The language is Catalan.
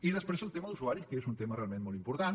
i després el tema d’usuaris que és un tema realment molt important